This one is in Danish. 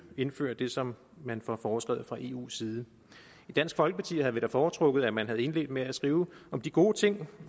indfører det som man får foreskrevet fra eus side i dansk folkeparti havde vi da foretrukket at man havde indledt med at skrive om de gode ting